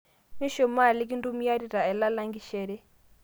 mishumaa kintumiarita ailang langishere